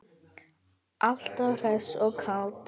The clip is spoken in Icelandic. Alltaf hress og kát.